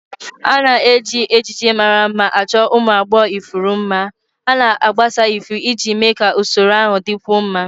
A na-eji ejiji mara mma chọọ ụmụ agbọghọ ifuru mma, ha na-agbasasị ifuru iji mee ka usoro ahụ dịkwuo mma.